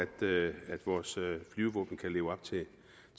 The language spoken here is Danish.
at vores flyvevåben kan leve op